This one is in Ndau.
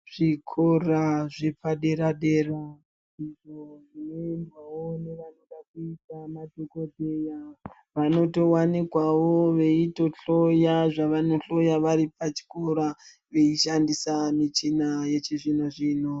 Zvikora zvepaderadera izvo zvinoendwawo newanoda kuita madhokoteya vanotowanikwawo veito hloya zvavano hloya vari pachikora vachishandisa michina yechizvino zvino.